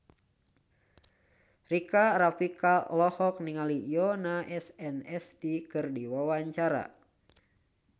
Rika Rafika olohok ningali Yoona SNSD keur diwawancara